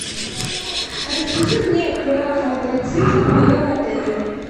расскажи мне про квадроциклы в моем отеле